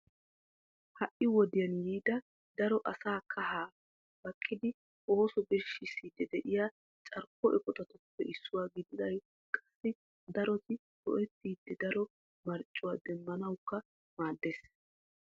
Ha'i wodiyan yiida daro asaa kaha baqqidi ooso birshshiidi de'iyaa carkko eqqotatuppe issuwaa gididi qassi daroti a go"ettidi daro marccuwa demmanawukka maaddees.